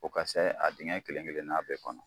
O ka saye a dingɛ kelen kelenan bɛɛ kɔnɔ.